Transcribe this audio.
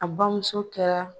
A bamuso kɛra.